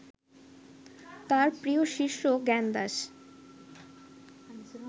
তাঁহার প্রিয় শিষ্য জ্ঞানদাস